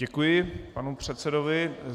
Děkuji panu předsedovi.